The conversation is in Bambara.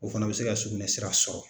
O fana bɛ se ka sugunɛ sira sɔrɔ